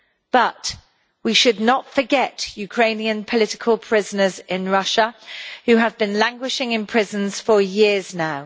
But we should not forget Ukrainian political prisoners in Russia, who have been languishing in prisons for years now.